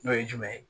N'o ye jumɛn ye